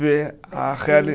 Ver a reali